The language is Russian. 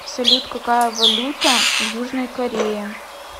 салют какая валюта в южной корее